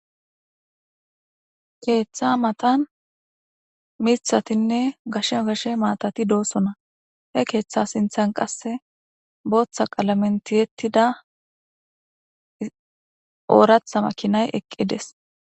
Keeththa matan miththatinne gashe gashe maatati doosona. He keeththa sinththan qasse booththa qalamen tiyetida ooraththa makiinay eqqides.